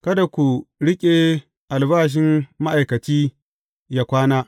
Kada ku riƙe albashin ma’aikaci yă kwana.